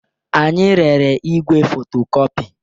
Anyị rere igwe fotocopy.